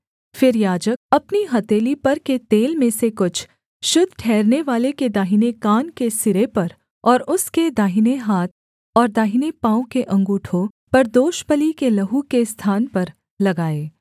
फिर याजक अपनी हथेली पर के तेल में से कुछ शुद्ध ठहरनेवाले के दाहिने कान के सिरे पर और उसके दाहिने हाथ और दाहिने पाँव के अँगूठों पर दोषबलि के लहू के स्थान पर लगाए